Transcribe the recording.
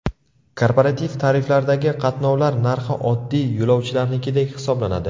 Korporativ tariflardagi qatnovlar narxi oddiy yo‘lovchilarnikidek hisoblanadi.